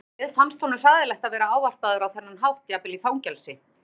Þegar á leið fannst honum hræðilegt að vera ávarpaður á þennan hátt jafnvel í fangelsi.